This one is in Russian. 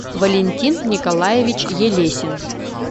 валентин николаевич елесин